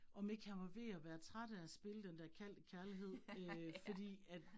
Om ikke han var ved at være træt af at spille den dér Kald det Kærlighed øh fordi at